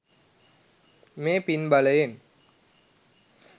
මේ පින් බලයෙන්